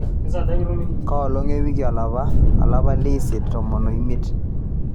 kaa olong ewiki olapa leisiet tomon omiet